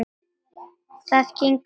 Það gengur mjög vel.